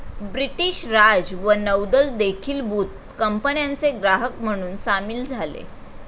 British Raj व नौदल देखीलबुत कंपन्याचे ग्राहक म्हणून सामील झाले